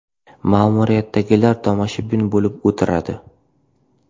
Ma’muriyatdagilar tomoshabin bo‘lib o‘tiradi.